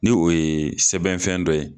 Ni o ye sɛbɛnfɛn dɔ ye